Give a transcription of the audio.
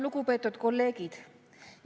Lugupeetud kolleegid!